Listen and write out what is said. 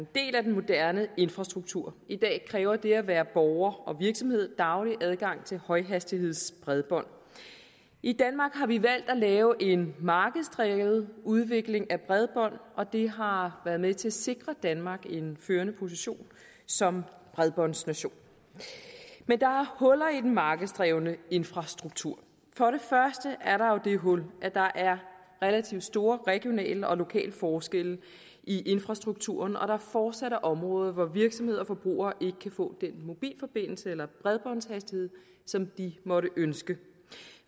del af den moderne infrastruktur i dag kræver det at være borger og virksomhed daglig adgang til højhastighedsbredbånd i danmark har vi valgt at lave en markedsdrevet udvikling af bredbånd og det har været med til at sikre danmark en førende position som bredbåndsnation men der huller i den markedsdrevne infrastruktur for det første er der jo det hul at der er relativt store regionale og lokale forskelle i infrastrukturen og at der fortsat er områder hvor virksomheder og forbrugere ikke kan få den mobilforbindelse eller bredbåndshastighed som de måtte ønske